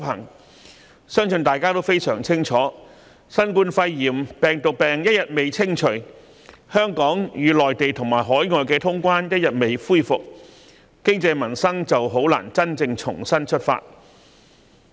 我相信大家均非常清楚，新冠肺炎病毒病一日未清除，香港與內地及海外通關的安排一日未能恢復，經濟民生便難以真正重新出發。